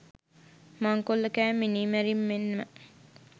මංකොල්ලකෑම් මිනීමැරීම් මෙන්ම